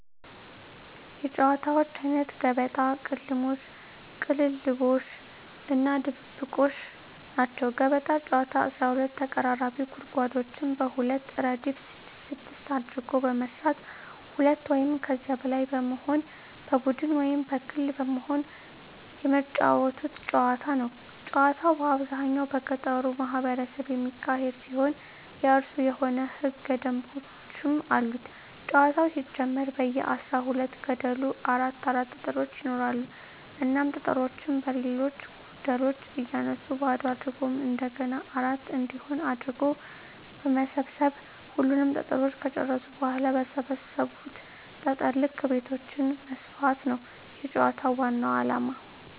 የጨዋታወች አይነት ገበጣ፣ ቅልሞሽ(ቅልልቦሽ) እና ድብብቆሽ ናቸዉ። ገበጣ ጨዋታ 12 ተቀራራቢ ጉድጓዶችን በሁለት እረድፍ ስድስት ስድስት አድርጎ በመስራት ሁለት ወይም ከዚያ በላይ በመሆን በቡድን ወይም በግል በመሆን የመጫወቱት ጨዋታ ነዉ። ጨዋታዉ በአብዛኛዉ በገጠሩ ማህበረሰብ የሚካሄድ ሲሆን የእራሱ የሆኑ ህገ ደንቦችም አሉት ጨዋታዉ ሲጀመር በየ አስራ ሁለት ገደሉ አራት አራት ጠጠሮች ይኖራሉ እናም ጠጠሮችን በሌሎች ገደሎች እያነሱ ባዶ አድርጎ እንደገና አራት እንዲሆን አድርጎ በመሰብ ሰብ ሁሉንም ጠጠሮች ከጨረሱ በኋላ በሰበሰቡት ጠጠር ልክ ቤቶችን መስፋት ነዉ የጨዋታዉ ዋናዉ አላማ።